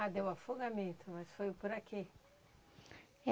Ah, deu afogamento, mas foi por aqui. É.